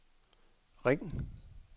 ring